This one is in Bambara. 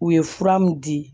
U ye fura min di